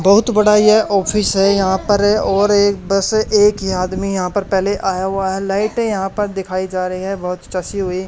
बहुत बड़ा यह ऑफिस है यहां पर और एक बस एक ही आदमी यहां पर पहले आया हुआ है लाइटें यहां पर दिखाई जा रही हैं बहुत चसी हुई।